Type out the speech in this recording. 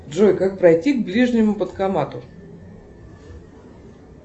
джой как пройти к ближнему банкомату